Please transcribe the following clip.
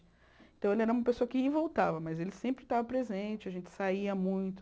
Então, ele era uma pessoa que ia e voltava, mas ele sempre estava presente, a gente saía muito.